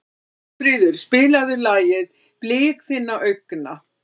Sólfríður, spilaðu lagið „Blik þinna augna“.